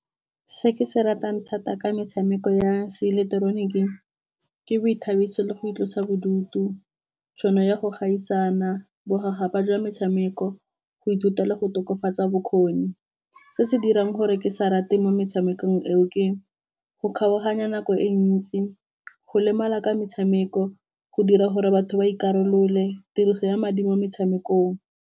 Se ke se ratang thata ka metshameko ya se ileketeroniki ke boithabiso le go itlosa bodutu. Tšhono ya go gaisana bokgaga ba jwa metshameko, go ithutela go tokafatsa bokgoni. Se se dirang gore ke sa rate mo metshamekong eo, ke go kgaoganya nako e ntsi, go lemala ka metshameko, go dira gore batho ba ikarolole, tiriso ya madi mo metshamekong.